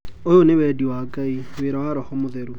"Uyũ ni wendi wa Ngai, wira wa Roho mũtheru."